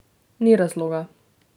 Ni razloga.